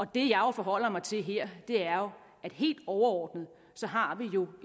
det jeg forholder mig til her er at helt overordnet har vi jo